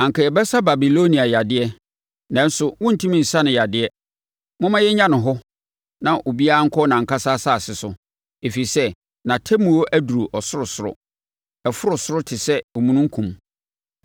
“ ‘Anka yɛbɛsa Babilonia yadeɛ, nanso wɔntumi nsa no yadeɛ; momma yɛnnya no hɔ na obiara nkɔ nʼankasa asase so, ɛfiri sɛ nʼatemmuo aduru ɔsorosoro. Ɛforo ɔsoro te sɛ omununkum.’